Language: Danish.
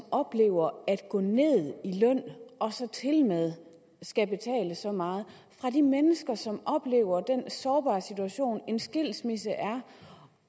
oplever at gå ned i løn og tilmed skal betale så meget og fra de mennesker som oplever den sårbare situation en skilsmisse er